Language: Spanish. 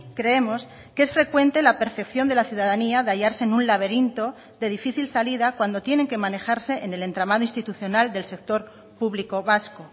creemos que es frecuente la percepción de la ciudadanía de hallarse en un laberinto de difícil salida cuando tienen que manejarse en el entramado institucional del sector público vasco